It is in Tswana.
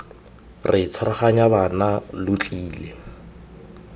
re tshwaraganya bana lo tlile